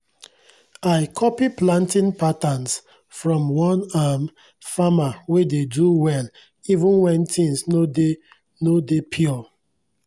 i copy planting patterns from one um farmer wey dey do well even wen tins no dey no dey pure